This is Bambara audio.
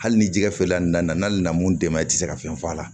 Hali ni jɛgɛ feerela nin nana n'ale nana mun d'e ma i tɛ se ka fɛn f'a la